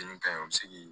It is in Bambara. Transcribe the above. Nin kaɲi an mi se k'i